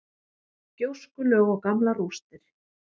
Gjóskulög og gamlar rústir.